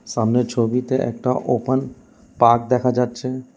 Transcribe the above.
সামনের ছবিতে একটা ওপেন পার্ক দেখা যাচ্ছে।